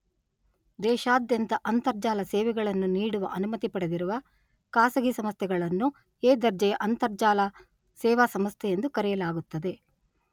ದೇಶಾದಂತ್ಯ ಅಂತರ್ಜಾಲ ಸೇವೆಗಳನ್ನು ನೀಡುವ ಅನುಮತಿ ಪಡೆದಿರುವ ಖಾಸಗಿ ಸಂಸ್ಥೆಗಳನ್ನು ಎ ದರ್ಜೆಯ ಅಂರ್ತಜಾಲ ಸೇವಾ ಸಂಸ್ಥೆಯೆಂದು ಕರೆಯಲಾಗುತ್ತದೆ.